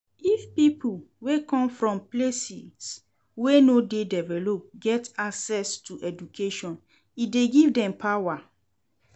If pipo wey come from places wey no de developed get access to education e de give dem power